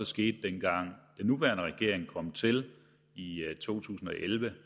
skete dengang den nuværende regering kom til i to tusind og elleve